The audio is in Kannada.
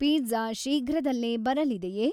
ಪಿಜ್ಜಾ ಶೀಘ್ರದಲ್ಲೇ ಬರಲಿದೆಯೇ?